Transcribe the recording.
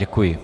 Děkuji.